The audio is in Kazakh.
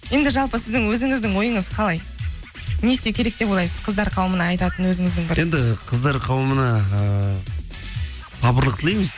енді жалпы сіздің өзіңіздің ойыңыз қалай не істеу керек деп ойлайсыз қыздар қауымына айтатын өзіңіздің енді қыздар қауымына ыыы сабырлық тілейміз